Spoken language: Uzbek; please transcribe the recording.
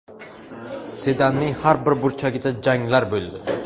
Sedanning har bir burchagida janglar bo‘ldi.